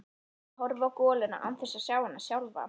Ég horfi á goluna án þess að sjá hana sjálfa.